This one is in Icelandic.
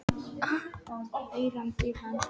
Ég er sérfræðingur í að ná burtu blettum úr teppum.